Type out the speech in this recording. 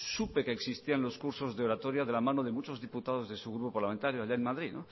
supe que existían los cursos de la oratoria de la mano de muchos diputados de su grupo parlamentario allí en madrid